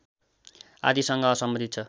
आदिसँग सम्बन्धित छ